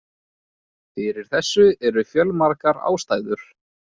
Fyrir þessu eru fjölmargar ástæður.